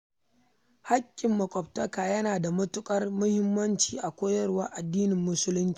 Haƙƙin maƙwabtaka yana da matuƙar muhimmanci a koyarwar addinin musulunci.